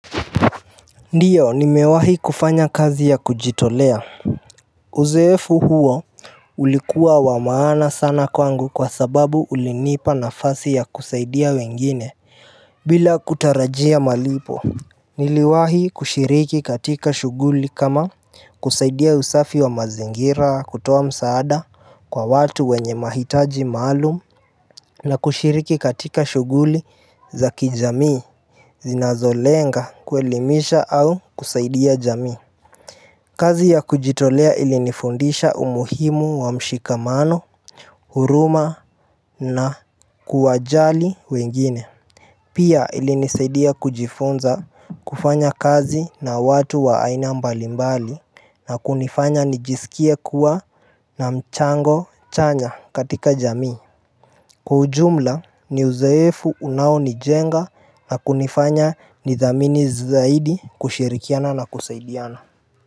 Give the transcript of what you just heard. Ndiyo nimewahi kufanya kazi ya kujitolea Uzoefu huo ulikuwa wa maana sana kwangu kwa sababu ulinipa nafasi ya kusaidia wengine bila kutarajia malipo Niliwahi kushiriki katika shuguli kama kusaidia usafi wa mazingira kutoa msaada kwa watu wenye mahitaji maalum Na kushiriki katika shuguli za kijamii Zinazolenga kuelimisha au kusaidia jamii Kazi ya kujitolea ilinifundisha umuhimu wa mshikamano, huruma na kuwajali wengine Pia ilinisaidia kujifunza kufanya kazi na watu waaina mbalimbali na kunifanya nijisikia kuwa na mchango chanya katika jamii Kwa ujumla ni uzoefu unao nijenga na kunifanya nidhamini zaidi kushirikiana na kusaidiana.